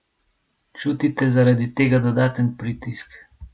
Čutite zaradi tega dodaten pritisk?